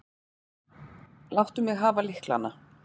Láttu mig hafa lyklana.